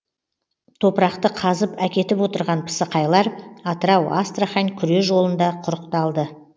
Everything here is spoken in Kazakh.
топырақты қазып әкетіп отырған пысықайлар атырау астрахань күре жолында құрықталды